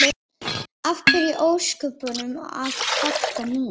Af hverju í ósköpunum að kvarta núna?